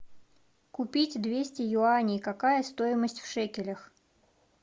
купить двести юаней какая стоимость в шекелях